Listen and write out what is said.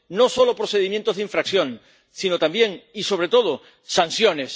No solo procedimientos de infracción, sino también, y sobre todo, sanciones.